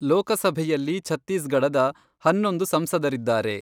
ಲೋಕಸಭೆಯಲ್ಲಿ ಛತ್ತೀಸ್ಗಢದ ಹನ್ನೊಂದು ಸಂಸದರಿದ್ದಾರೆ.